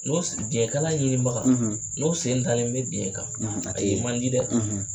N ko biɲɛkala ɲinibaga ,, n'o sen dalen bɛ biɲɛ kan, , a te yen, a ye man di dɛ!